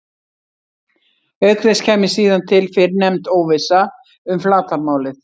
Auk þess kæmi síðan til fyrrnefnd óvissa um flatarmálið.